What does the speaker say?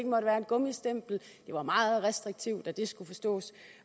måtte være et gummistempel det var meget restriktivt at det skulle forstås